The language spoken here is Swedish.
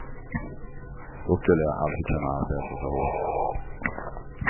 Då skulle jag aldrig kunna arbeta så hårt.